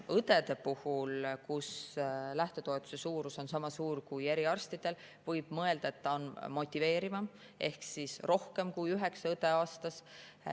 Õdede lähtetoetus on sama suur kui eriarstidel, nii et võib mõelda, et see on motiveerivam, ehk rohkem kui üheksa õde aastas.